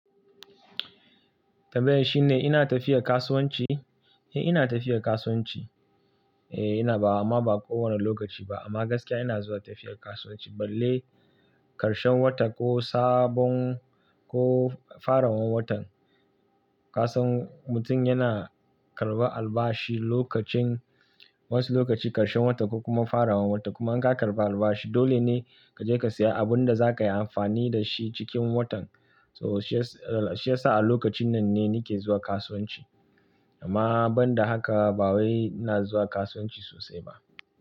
Tambayar shine "ina tafiya kasuwanci?" Eh ina tafiya kasuwanci. Eh ina-- ba-- amma ba kowane lokaci ba amma gaskiya ina zuwa tafiyar kasuwanci balle karshen wata ko sabon-- ko farawan watan. Ka san mutum yana karɓar albashi lokacin wasu lokaci karshen wata ko kuma farawan wata kuma in ka karɓi albashi dole ne ka je ka siya abun da zaka yi amfani da shi cikin watan. So shi ya sa a lokacin nan ne nake zuwa kasuwanci amma banda haka ba wai ina zuwa kasuwanci sosai ba.